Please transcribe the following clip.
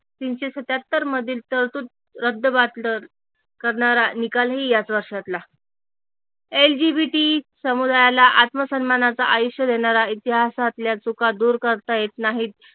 तीनशे सत्त्याहत्तरमधील तरतूद करणारा निकालही याच वर्षातला LGBT समुदायाला आत्मसन्मानाचा आयुष्य देणारा इतिहासातल्या चुका दूर करता येत नाहीत